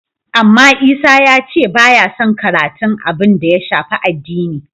Amma Isa ya ce ba yason karatun abin da ya shafi addini.